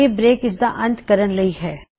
ਇਹ ਬ੍ਰੇਕ ਇਸਦਾ ਅੰਤ ਕਰਨ ਲਈ ਹੈ